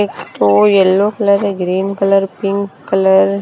एक तो yellow colour है ग्रीन कलर पिंक कलर --